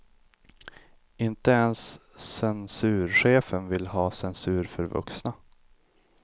Inte ens censurchefen vill ha censur för vuxna.